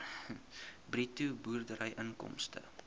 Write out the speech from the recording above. bruto boerderyinkomste